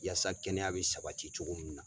Yasa kɛnɛya bɛ sabati cogo mun na.